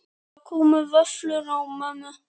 Það komu vöflur á mömmu.